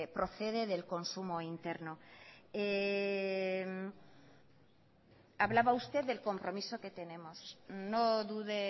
procede del consumo interno hablaba usted del compromiso que tenemos no dude